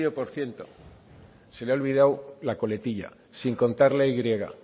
por ciento se le ha olvidado la coletilla sin contar la y